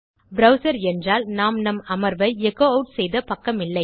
browser என்றால் நாம் நம் அமர்வை எச்சோ ஆட் செய்த பக்கமில்லை